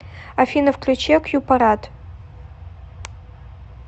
афина включи акьюпарат